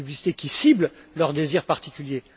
C'est une publicité qui cible leurs désirs particuliers.